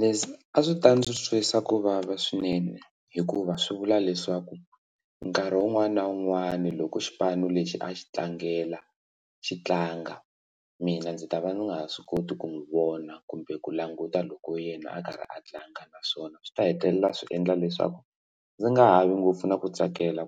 Leswi a swi ta ndzi twisa ku vava swinene hikuva swi vula leswaku nkarhi wun'wani na wun'wani loko xipano lexi a xi tlangela xi tlanga mina ndzi ta va nga ha swi koti ku n'wi vona kumbe ku languta loko yena a karhi a tlanga naswona swi ta hetelela swi endla leswaku ndzi nga ha vi ngopfu na ku tsakela